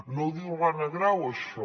no ho diu l’anna grau això